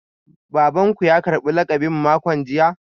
Baban ku ya karbi lakabin makon jiya?